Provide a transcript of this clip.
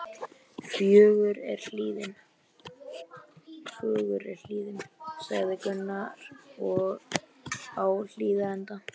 Fögur er hlíðin, sagði Gunnar á Hlíðarenda.